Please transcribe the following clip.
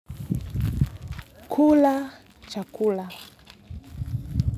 Kula chakula.